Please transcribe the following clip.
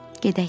Gedək.